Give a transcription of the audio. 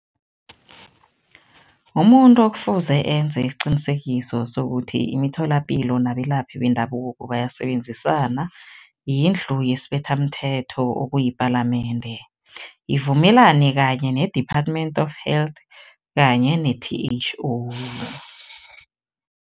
Umuntu okufuze enze isiqinisekiso sokuthi imitholapilo nabelaphi bendabuko bayasebenzisana, yindlu yesibethamthetho okuyipalamende, ivumelane kanye ne-Department of Health kanye ne-T_H_O.